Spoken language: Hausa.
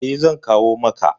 Eh zan kawo maka.